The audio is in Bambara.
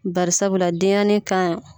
Bariasabula denɲɛrɛnin kan